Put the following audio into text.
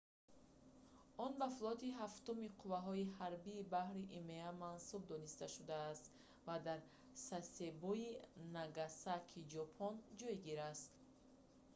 он ба флоти ҳафтуми қувваҳои ҳарбӣ-баҳрии има мансуб дониста шудааст ва дар сасебои нагасакии ҷопон ҷойгир аст